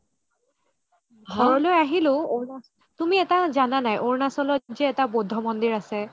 ঘৰলৈ আহিলো তুমি এটা জানা নে নাই অৰুণাচলত যে এটা বুদ্ধ মন্দিৰ আছে